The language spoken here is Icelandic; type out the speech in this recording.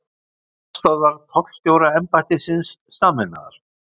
Starfsstöðvar tollstjóraembættisins sameinaðar